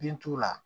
Bin t'u la